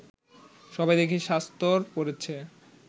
সবাই দেখি শাস্তর পড়ছে